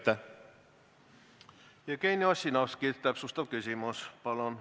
Jevgeni Ossinovski, täpsustav küsimus, palun!